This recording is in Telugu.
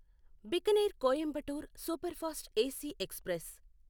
Bikaner Coimbatore superfast AC express